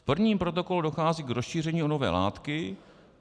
"V prvním protokolu dochází k rozšíření o nové látky.